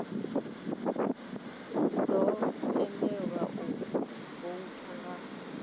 ḓo tendelwa u voutha nga